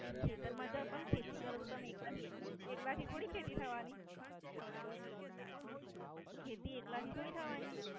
ખેતર માં જાઓ ન ખેતી કરો તો એકલા એકલા થી ખેતી થવાની. ખેતી એકલા થી થોડી થવાની.